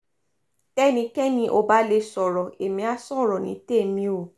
tẹ́nikẹ́ni ò bá lè sọ̀rọ̀ ẹ̀mí àá sọ̀rọ̀ ní tèmi o